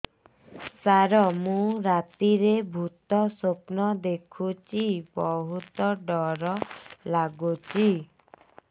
ସାର ମୁ ରାତିରେ ଭୁତ ସ୍ୱପ୍ନ ଦେଖୁଚି ବହୁତ ଡର ଲାଗୁଚି